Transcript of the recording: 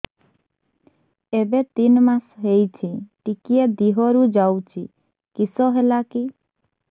ଏବେ ତିନ୍ ମାସ ହେଇଛି ଟିକିଏ ଦିହରୁ ଯାଉଛି କିଶ ହେଲାକି